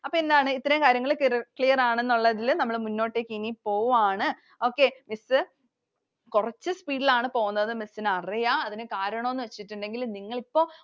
അപ്പൊ എന്താണ്. ഇത്രയും കാര്യങ്ങൾ clear ആണ് എന്നുള്ളതിൽ മുന്നോട്ടേക്കു ഇനി പോവാണ്. okay, Miss കുറച്ചു speed ൽ ആണ് പോകുന്നത്. Miss ന് അറിയാം. അതിനു കരണമെന്നുവെച്ചിട്ടുണ്ടെങ്കിൽ നിങ്ങൾ ഇപ്പൊ